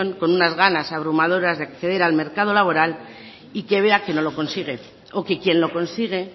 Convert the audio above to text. con unas ganas abrumadoras de acceder al mercado laboral y que vea que no lo consigue o que quien lo consigue